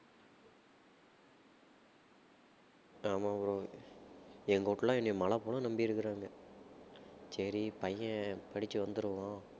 ஆமா bro எங்க வீட்லயெல்லாம் என்னை மலை போல் நம்பியிருக்கறாங்க சரி பையன் படிச்சு வந்திடுவான்